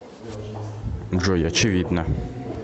джой очевидно